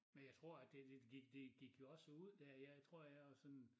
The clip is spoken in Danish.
Men jeg tror at det det gik det gik jo også ud dér jeg tror jeg var sådan